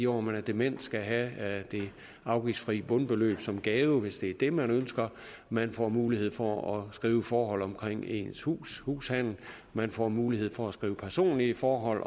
år hvor man er dement skal have det afgiftsfri bundbeløb som gave hvis det er det man ønsker man får mulighed for at skrive forhold ind omkring ens hus hushandel man får mulighed for at skrive personlige forhold